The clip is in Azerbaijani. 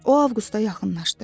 O Avqusta yaxınlaşdı.